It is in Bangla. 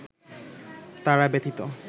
তারা ব্যতীত